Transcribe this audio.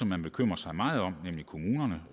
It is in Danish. man bekymrer sig meget om nemlig kommunerne